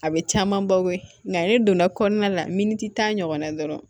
A bɛ caman baw ye nka ne donna kɔnɔna la miniti tan ɲɔgɔnna dɔrɔn